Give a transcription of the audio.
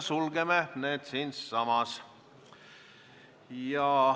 Sulgeme läbirääkimised siinsamas.